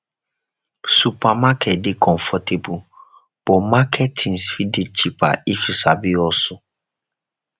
supermarket dey comfortable but market tins fit dey cheaper if yu sabi hustle